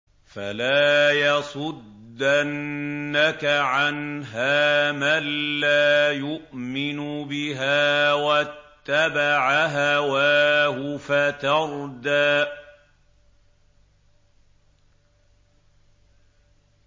فَلَا يَصُدَّنَّكَ عَنْهَا مَن لَّا يُؤْمِنُ بِهَا وَاتَّبَعَ هَوَاهُ فَتَرْدَىٰ